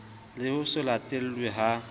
le ho se latelwe ha